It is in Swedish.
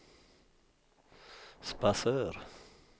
Sparsör